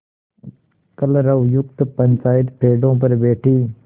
कलरवयुक्त पंचायत पेड़ों पर बैठी